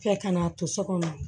Kɛ ka n'a to so kɔnɔ